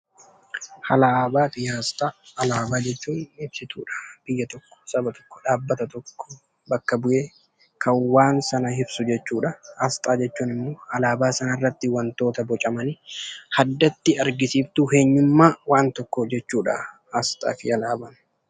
Alaabaa fi aasxaa, Alaabaa jechuun ibsituudha biyya tokko, saba tokko, dhaabbata tokko bakka bu'ee kan waan sana ibsu jechuudhaa. Aasxaa jechuun immoo alaabaa sanarratti wantoota bocamanii addatti argisiiftuu eenyummaa waan tokkoo jechuudha aasxaa fi alaabaan.